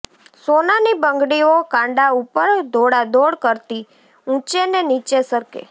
સોનાની બંગડીઓ કાંડા ઉપર દોડાદોડ કરતી ઊંચે ને નીચે સરકે